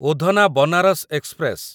Udhna Banaras express